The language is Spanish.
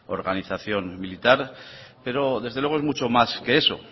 organización militar pero desde luego es mucho más que eso